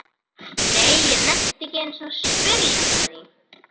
Nei, ég nennti ekki einu sinni að spyrja hann að því